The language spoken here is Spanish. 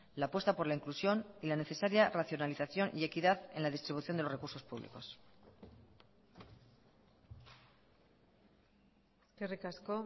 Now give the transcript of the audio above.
la apuesta por la inclusión y la necesaria racionalización y equidad en la distribución de los recursos públicos eskerrik asko